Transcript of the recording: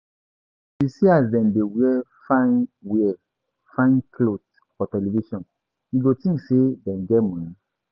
If you see as dem dey wear fine wear fine clot for television you go tink sey dem get moni.